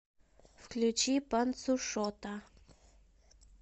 включи панцушота